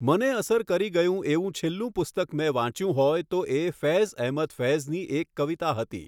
મને અસર કરી ગયું એવું છેલ્લું પુસ્તક મેં વાંચ્યું હોય તો એ ફૈઝ એહમદ ફૈઝની એક કવિતા હતી